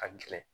Ka gɛlɛn